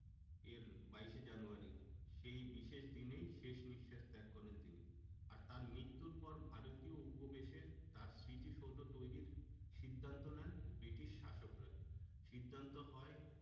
এর বাইশ এ জানুয়ারী সেই বিশেষ দিনেই শেষ নিশ্বাস ত্যাগ করেন তিনি। আর তার মৃত্যুর পর ভারতীয় উপবেশে তার স্মৃতিসৌধ তৈরির সিদ্ধান্ত নেন ব্রিটিশ শাসকরা সিদ্ধান্ত হয়